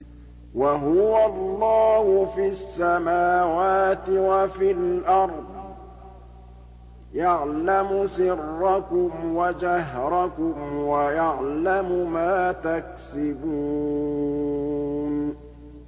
وَهُوَ اللَّهُ فِي السَّمَاوَاتِ وَفِي الْأَرْضِ ۖ يَعْلَمُ سِرَّكُمْ وَجَهْرَكُمْ وَيَعْلَمُ مَا تَكْسِبُونَ